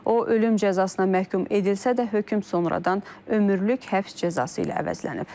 O ölüm cəzasına məhkum edilsə də, hökm sonradan ömürlük həbs cəzası ilə əvəzlənib.